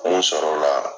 Mun sɔrɔla